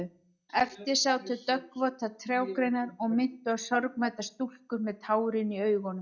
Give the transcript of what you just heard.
Eftir sátu döggvotar trjágreinar og minntu á sorgmæddar stúlkur með tárin í augunum.